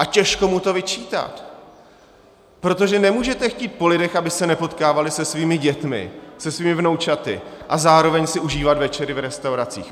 A těžko mu to vyčítat, protože nemůžete chtít po lidech, aby se nepotkávali se svými dětmi, se svými vnoučaty, a zároveň si užívat večery v restauracích.